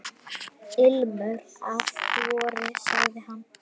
Ilmur af vori sagði hann.